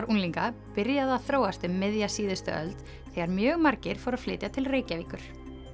unglinga byrjaði að þróast um miðja síðustu öld þegar mjög margir fluttu til Reykjavíkur